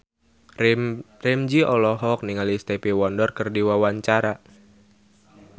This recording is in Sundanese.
Ramzy olohok ningali Stevie Wonder keur diwawancara